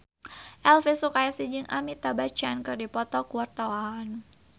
Elvy Sukaesih jeung Amitabh Bachchan keur dipoto ku wartawan